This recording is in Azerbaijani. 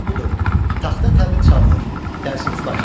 və budur: taxta təbil çalınır.